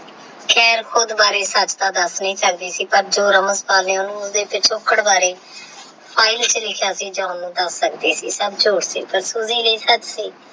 ਖੇਰ ਖੁੱਦ ਬਾਰੇ ਸੱਚ ਤੇ ਦੱਸ ਨਹੀਂ ਸਕਦੀ ਸੀ ਪਰ ਜੋ ramanpal ਨੇ ਉਹਨੂੰ ਉਹਦੇ ਪਿਛੋਕੜ ਬਾਰੇ ਫਾਇਲ ਵਿੱਚ ਲਿਖਿਆ ਸੀ ਸਬ ਝੂਠ ਸੀ ਪਰ ਲਈ ਸੱਚ ਸੀ।